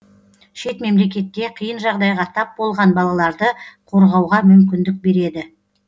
шет мемлекетте қиын жағдайға тап болған балаларды қорғауға мүмкіндік береді